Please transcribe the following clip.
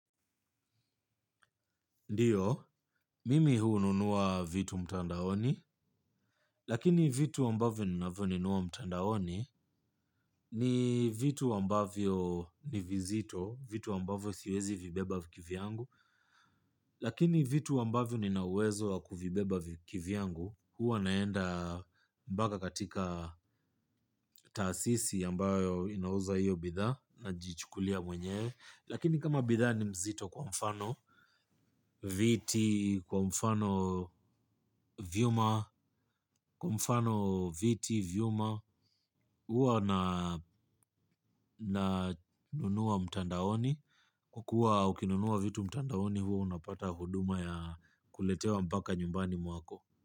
Ndiyo, mimi hununua vitu mtandaoni, lakini vitu ambavyo ninavinunua mtandaoni ni vitu ambavyo ni vizito, vitu ambavyo siwezi vibeba kivyangu, lakini vitu ambavyo nina uwezo wa kuvibeba kivyangu huwa naenda mbaka katika taasisi ambayo inauza hiyo bidhaa najichukulia mwenyewe. Lakini kama bidhaa ni mzito kwa mfano viti, kwa mfano vyuma, kwa mfano viti, vyuma, huwa na nunua mtandaoni, kwa kuwa ukinunua vitu mtandaoni huwa unapata huduma ya kuletewa mpaka nyumbani mwako.